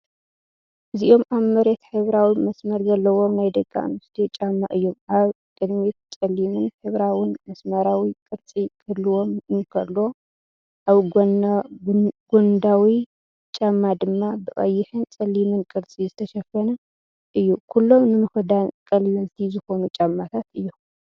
እዚኦም ኣብ መሬት ሕብራዊ መስመር ዘለዎም ናይ ደቂ ኣንስትዮ ጫማ እዮም። ኣብ ቅድሚት ጸሊምን ሕብራዊን መስመራዊ ቅርጺ ክህልዎ እንከሎ፡ኣብ ጎድናዊ ጫማ ድማ ብቐይሕን ጸሊምን ቅርጺ ዝተሸፈነ እዩ። ኩሎም ንምኽዳን ቀለልቲ ዝኾኑ ጫማታት እዮም።